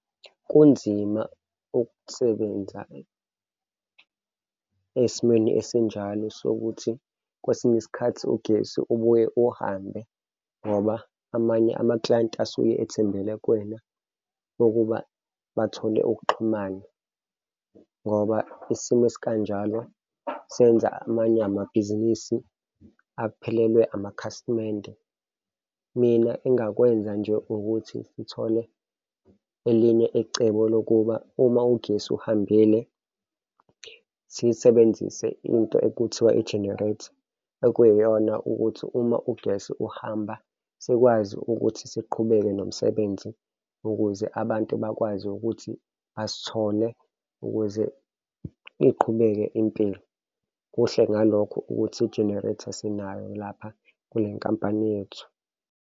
Kunzima ukusebenza esimeni esinjalo sokuthi kwesinye isikhathi ugesi ubuye uhambe ngoba amanye amaklayenti asuke ethembele kuwena ukuba bathole ukuxhumana ngoba isimo esikanjalo senza amanye amabhizinisi aphelelwe amakhasimende. Mina engakwenza nje ukuthi ngithole elinye ecebo lokuba uma ugesi uhambile, sisebenzise into ekuthiwa i-generator, okuyiyona ukuthi uma ugesi uhamba sikwazi ukuthi siqhubeke nomsebenzi, ukuze abantu bakwazi ukuthi basithole ukuze iqhubeke impilo. Kuhle ngalokho ukuthi i-generator sinayo lapha kwinkampani yethu.